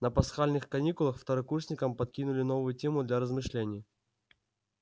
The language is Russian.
на пасхальных каникулах второкурсникам подкинули новую тему для размышлений